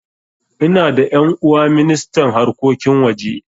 Ina da ƴan'uwa ministan harkokin waje